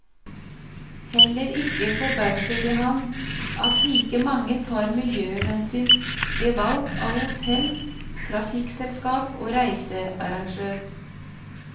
Heller ikke forbauser det ham at like mange tar miljøhensyn ved valg av hotell, trafikkselskap og reisearrangør.